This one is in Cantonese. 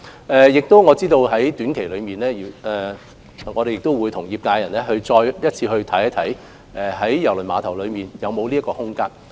我也知道在短期內，我們會與業界人士再次審視郵輪碼頭在這方面的空間。